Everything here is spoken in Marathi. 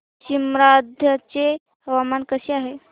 सीमांध्र चे हवामान कसे आहे